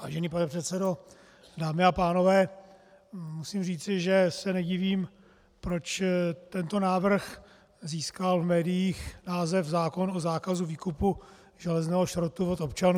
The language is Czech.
Vážený pane předsedo, dámy a pánové, musím říci, že se nedivím, proč tento návrh získal v médiích název zákon o zákazu výkupu železného šrotu od občanů.